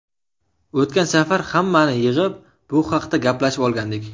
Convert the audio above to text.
O‘tgan safar hammani yig‘ib bu haqda gaplashib olgandik.